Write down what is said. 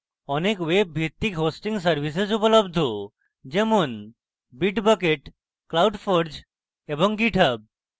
অনেক web ভিত্তিক hosting services উপলব্ধ যেমন bitbucket cloudforge এবং github